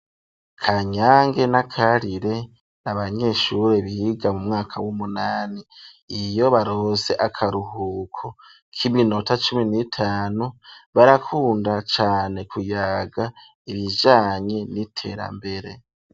Kanyange na Karire n'abanyeshuri biga mu mwaka w'umunani ,iyo baronse akaruhuko k'iminota cumi n'itanu barakunda cane kuyaga ibijanye n'iterambere.